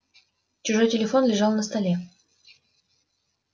чужой телефон лежал на столе